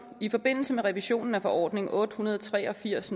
i forbindelse med revisionen af forordning otte hundrede og tre og firs